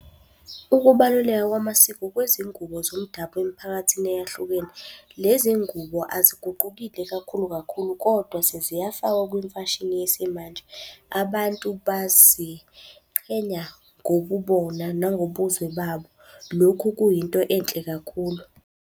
Ukubaluleka kwamasiko kwezingubo zomdabu emiphakathini eyahlukene. Lezi ngubo aziguqukile kakhulu kakhulu, kodwa seziyafakwa kwimfashini yesimanje. Abantu baziqhenya ngobubona nangobuzwe babo. Lokhu kuyinto enhle kakhulu.